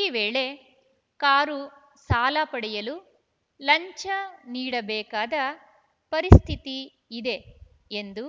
ಈ ವೇಳೆ ಕಾರು ಸಾಲ ಪಡೆಯಲು ಲಂಚ ನೀಡಬೇಕಾದ ಪರಿಸ್ಥಿತಿ ಇದೆ ಎಂದು